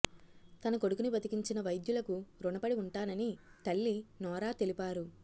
తన కొడుకుని బతికించిన వైద్యులకు రుణపడి ఉంటానని తల్లి నోరా తెలిపారు